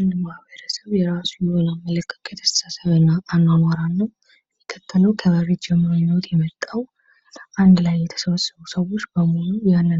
አንድ ማህበረሰብ የራሱ የሆነ አመለካከትና አኗኗር አለው። እና አንድ ቤተስብ የዛን ማህበረስብ ወግና